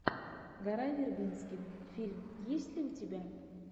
гора вербински фильм есть ли у тебя